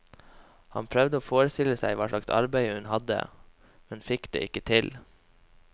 Han prøvde å forestille seg hva slags arbeid hun hadde, men fikk det ikke til.